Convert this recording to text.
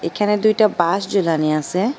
এইখানে দুইটা বাঁশ ঝুলানি আছে।